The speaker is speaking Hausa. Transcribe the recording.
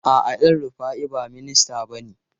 A'a, El Rufai ba minista bane.